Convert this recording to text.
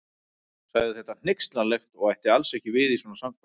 Sagði þetta hneykslanlegt og ætti alls ekki við í svona samkvæmi.